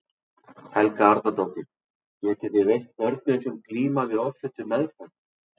Helga Arnardóttir: Getið þið veitt börnum sem glíma við offitu meðferð?